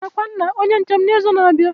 Aga akwa nna Onye nche m na izu na abịa